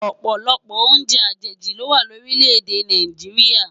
Òpòlòpò óùnjè ajéji lówá lórilè-èdè Náijiriá